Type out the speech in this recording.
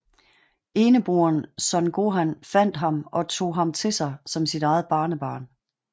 Eneboeren Son Gohan fandt ham og tog ham til sig som sit eget barnebarn